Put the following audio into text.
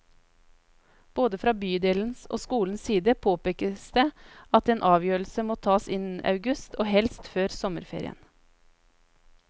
Både fra bydelens og skolens side påpekes det at en avgjørelse må tas innen august, og helst før sommerferien.